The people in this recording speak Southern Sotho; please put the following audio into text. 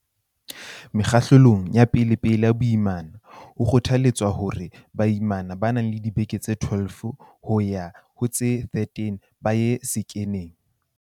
Mekgahlelong ya pelepele ya boimana, ho kgotha letswa hore baimana ba nang le dibeke tse 12 yo ha ho tse 13 ba ye sekheneng.